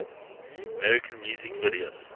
american music video